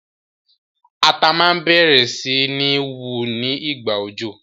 Ata ma bẹ̀rẹ̀ si ni wu ni ìgbà òjò